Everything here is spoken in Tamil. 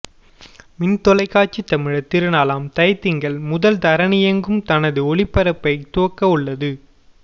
மின் தொலைக்காட்சி தமிழர் திருநாளாம் தை திங்கள் முதல் தரணியெங்கும் தனது ஒளிபரப்பைத் துவக்க உள்ளது